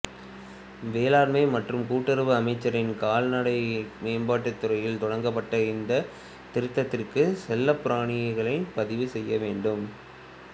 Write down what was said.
வேளாண்மை மற்றும் கூட்டுறவு அமைச்சின் கால்நடை மேம்பாட்டுத் துறையால் தொடங்கப்பட்ட இந்தத் திருத்தத்திற்கு செல்லப்பிராணிகளைப் பதிவு செய்ய வேண்டும்